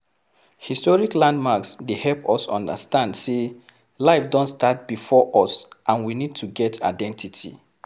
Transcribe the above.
Historic landmarks dey help us understand sey life don start before us and we need to get identity